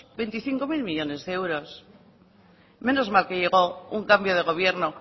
veinticinco mil millónes de euros menos mal que llego un cambio de gobierno